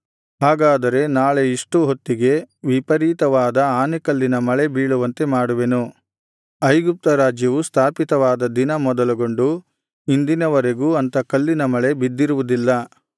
ಹಾಗಾದರೆ ನಾಳೆ ಇಷ್ಟು ಹೊತ್ತಿಗೆ ವಿಪರೀತವಾದ ಆನೆಕಲ್ಲಿನ ಮಳೆ ಬೀಳುವಂತೆ ಮಾಡುವೆನು ಐಗುಪ್ತ ರಾಜ್ಯವು ಸ್ಥಾಪಿತವಾದ ದಿನ ಮೊದಲುಗೊಂಡು ಇಂದಿನವರೆಗೂ ಅಂಥ ಕಲ್ಲಿನ ಮಳೆ ಬಿದ್ದಿರುವುದಿಲ್ಲ